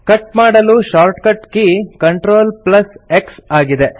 cut ಮಾಡಲು shortcut key CTRLX ಆಗಿದೆ